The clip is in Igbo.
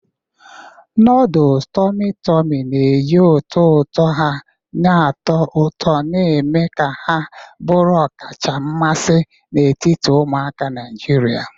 Noodles tummy tummy na-eji ụtọ ụtọ ha na-atọ ụtọ, na-eme ka ha bụrụ ọkacha mmasị n'etiti ụmụaka Naijiria.